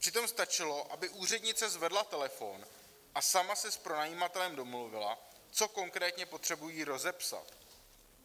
Přitom stačilo, aby úřednice zvedla telefon a sama se s pronajímatelem domluvila, co konkrétně potřebují rozepsat.